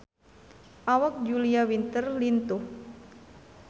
Awak Julia Winter lintuh